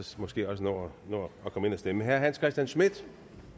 måske også nå at komme ind at stemme herre hans christian schmidt